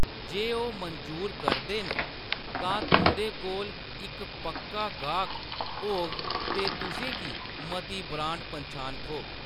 जे ओह्‌‌ मंजूर करदे न, तां तुंʼदे कोल इक पक्का गाह्‌‌क होग ते तुसें गी मती ब्रांड पन्छान थ्होग।